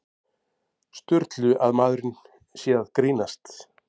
Sturlu að maðurinn sé að grínast.